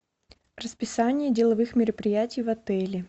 расписание деловых мероприятий в отеле